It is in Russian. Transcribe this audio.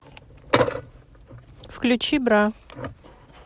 включи бра